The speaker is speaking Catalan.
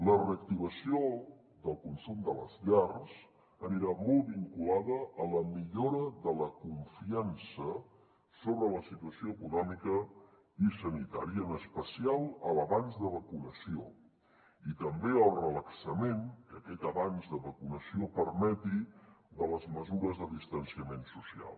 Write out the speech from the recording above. la reactivació del consum de les llars anirà molt vinculada a la millora de la confiança sobre la situació econòmica i sanitària en especial a l’avanç de vacunació i també al relaxament que aquest avanç de vacunació permeti de les mesures de distanciament social